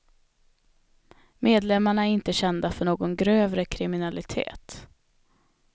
Medlemmarna är inte kända för någon grövre kriminalitet.